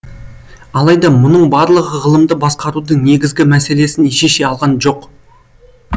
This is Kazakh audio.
алайда мұның барлығы ғылымды басқарудың негізгі мәселесін шеше алған жоқ